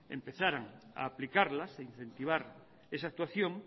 empezarán a aplicarlas a incentivar esa actuación